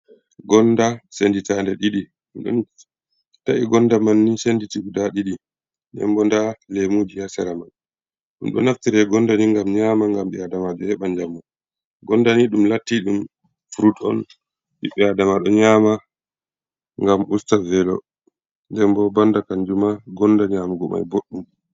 Gonda senditande ɗiɗi, ɗum ɗon ta’i gonda man ni senditi guda ɗiɗi, nden bo nda lemuji ha sera man, ɗum ɗo naftira gonda ni ngam nyama, ngam ɓi adama jo heɓa jamu, gondani ɗum latti ɗum frut on, ɓiɓɓe adama ɗo nyama, ngam usta velo, nden bo banda kanjum ma gonda nyamugo mai boɗdum.